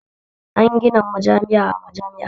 An gina majami'a a jami'a